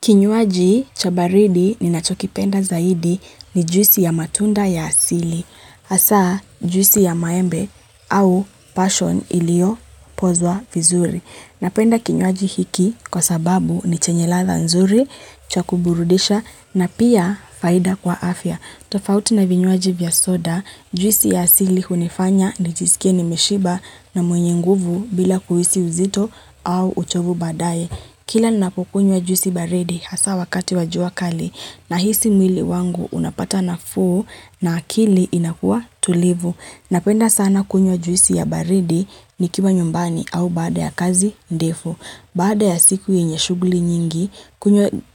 Kinywaji cha baridi ninachokipenda zaidi ni juisi ya matunda ya asili. Asa juisi ya maembe au passion ilio pozwa vizuri. Napenda kinyuaji hiki kwa sababu ni chenye latha nzuri, cha kuburudisha na pia faida kwa afya. Tofauti na vinyuaji vya soda, juisi ya asili kunifanya nijisikie ni mishiba na mwenye nguvu bila kuhisi uzito au uchovu badaye. Kila napukunye wa juisi baridi hasa wakati wajua kali na hisi mwili wangu unapata na fuu na akili inakua tulivu. Napenda sana kunywa juisi ya baridi nikima nyumbani au baada ya kazi ndefu. Baada ya siku yenye shuguli nyingi,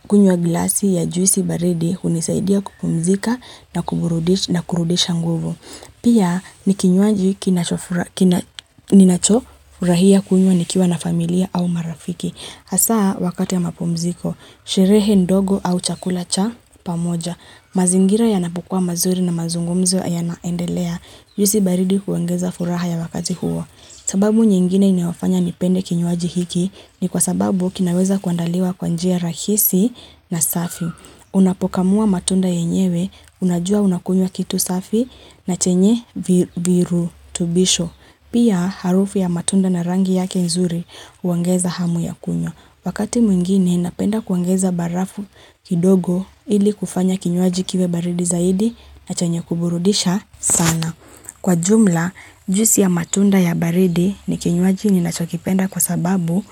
kunye wa glasi ya juisi baridi unisaidia kupumzika na kurudisha nguvu. Pia ni kinywaji kinachofurahia kunywa nikiwa na familia au marafiki. Asaa wakati ya mapumziko, sherehe ndogo au chakula cha pamoja. Mazingira yanapokua mazuri na mazungumzo yanaendelea. Juisi baridi huongeza furaha ya wakati huo. Sababu nyingine inofanya nipende kinywaji hiki ni kwa sababu kinaweza kuandaliwa kwanjia rahisi na safi. Unapokamua matunda yenyewe, unajua unakunywa kitu safi na chenye virutubisho. Pia harufu ya matunda na rangi yake nzuri uangeza hamu ya kunywa. Wakati mwingine, inapenda kuangeza barafu kidogo ili kufanya kinyuaji kiwe baridi zaidi na chenye kuburudisha sana. Kwa jumla, juisi ya matunda ya baridi ni kinywaji ninachokipenda kwa sababu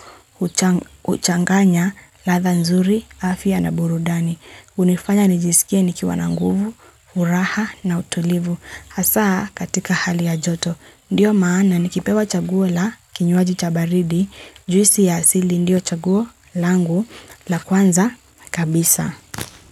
uchanganya latha nzuri, afia na burudani. Unifanya nijisikia nikiwa na nguvu, furaha na utulivu. Hasa katika hali ya joto, ndiyo maana nikipewa chaguo la kinyuaji cha baridi, juisi ya asili ndiyo chaguo langu la kwanza kabisa.